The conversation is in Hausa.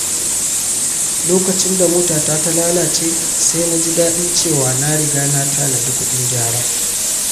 Lokacin da motata ta lalace, sai na ji daɗin cewa na riga na tanadi kuɗin gyara.